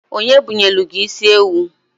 Onye bunyelu gi isiewu?